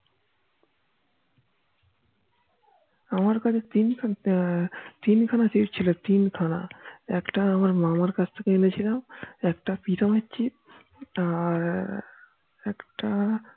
আমার কাছে তিন খানা chip ছিল তিন খানা একটা আমার মামার কাছ থেকে এনেছিলাম একটা প্রীতম এর chip একটা আর একটা